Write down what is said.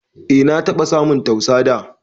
E na taba samun tausa dà